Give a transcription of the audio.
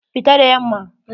Fita da yamma!